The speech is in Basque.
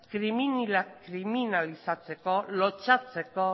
kriminalizatzeko lotsatzeko